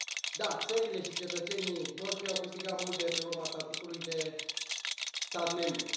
Da, țările și cetățenii noștri au câștigat mult de pe urma statutului de stat membru.